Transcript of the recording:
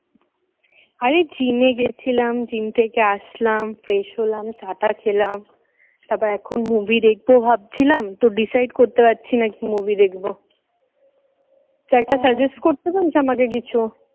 আরে gym এ গেছিলাম gym থেকে আসলাম fresh হলাম চা টা খেলাম তারপর এখন movie দেখবো ভাবছিলাম তো decide করতে পারছি না কি movie দেখব তো একটা suggest করতে পারিস আমাকে কিছু।